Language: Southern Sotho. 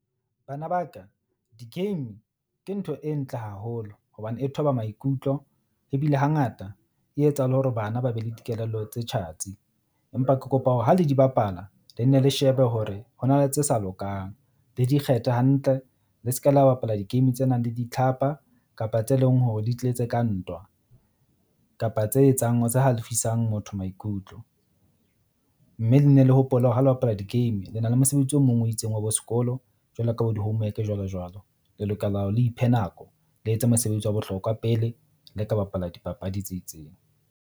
Bana ba ka di-game ke ntho e ntle haholo hobane e thoba maikutlo, ebile hangata e etsa le hore bana ba be le dikelello tsa tjhatsi. Empa ke kopa hore ha le di bapala le nne, le shebe hore ho na le tse sa lokang le di kgethe hantle. Le se ke la bapala di-game tse nang le ditlhapa kapa tse leng hore di tletse ka ntwa kapa tse etsang tse halefisang motho maikutlo. Mme le ne le hopole hore ha le bapala di-game lena le mosebetsi o mong o itseng wa bo sekolo jwalo ka bo di-homework-e jwalo jwalo. Le lokela hore le iphe nako, le etse mosebetsi wa bohlokwa pele le ka bapala dipapadi tse itseng.